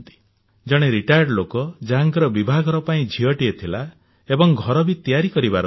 ଜଣେ ଅବସରପ୍ରାପ୍ତ ଲୋକ ଯାହାଙ୍କର ବିଭାଘର ପାଇଁ ଝିଅଟିଏ ଥିଲା ଏବଂ ଘର ବି ତିଆରି କରିବାର ଥିଲା